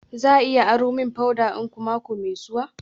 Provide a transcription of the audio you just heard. Za a iya aro min powder dinku mako mai zuwa?